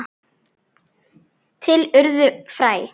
Til urðu fræ.